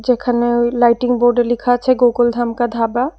এখানে ওই লাইটিং বোর্ডে লিখা আছে গোকুল ধাম কা ধাবা।